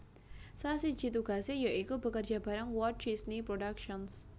Salah siji tugasé ya iku bekerja bareng Walt Disney Productions